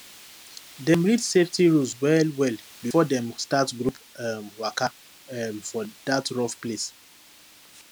dem read safety rules wellwell before dem start group um waka um for that rough place